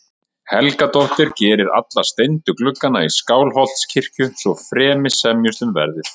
Helgadóttir geri alla steindu gluggana í Skálholtskirkju- svo fremi semjist um verðið.